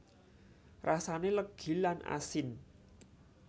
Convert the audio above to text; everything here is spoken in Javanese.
Rasane legi lan asin